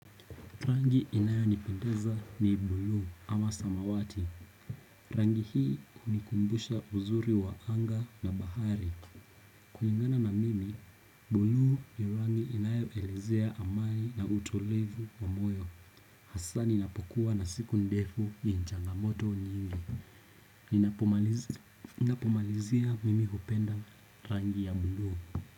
Rangi inayonipendeza ni buluu ama samawati. Rangi hii hunikumbusha uzuri wa anga na bahari kulingana na mimi, buluu ni rangi inayoelezea amani na utulivu wa moyo. Hasa ninapokuwa na siku ndefu na changamoto nyingi. Ninapomalizia mimi hupenda rangi ya buluu.